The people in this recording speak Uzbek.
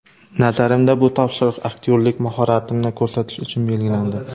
Nazarimda, bu topshiriq aktyorlik mahoratimni ko‘rsatish uchun berilgandi.